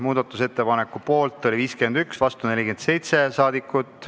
Muudatusettepaneku poolt oli 51 Riigikogu liiget, vastu 47.